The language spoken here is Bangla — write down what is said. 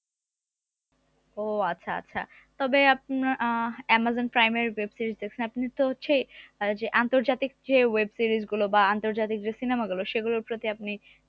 ও আচ্ছা আচ্ছা তবে আপনা আহ অ্যামাজন প্রাইমের web series দেখেন আপনি তো হচ্ছে আহ যে আন্তর্জাতিক যে web series গুলো বা আন্তর্জাতিক যে cinema গুলো সেগুলোর প্রতি আপনি